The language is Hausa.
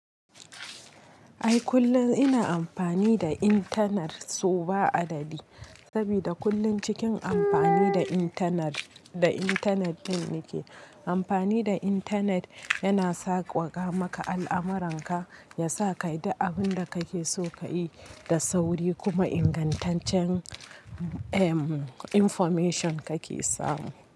Ai kullum ina amfani da intanet sau ba adadi, saboda kullum cikin amfani da intanet, da intanet din nike. Amfani da intanet yana sawwaka maka al'amuranka, yasa kayi duk abinda kake so kayi da sauri kuma ingantaccen information kake samu.